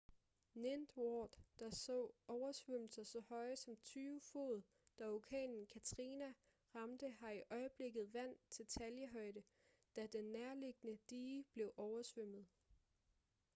ninth ward der så oversvømmelser så høje som 20 fod da orkanen katrina ramte har i øjeblikket vand til taljehøjde da den nærliggende dige blev oversvømmet